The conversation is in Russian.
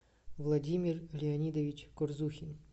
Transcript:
владимир леонидович курзухин